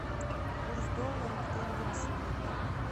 курс доллара к тенге на сегодня